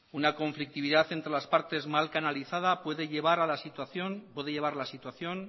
una conflictividad entre las partes mal canalizada puede llevar la situación